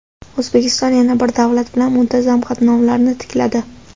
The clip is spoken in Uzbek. O‘zbekiston yana bir davlat bilan muntazam qatnovlarni tikladi.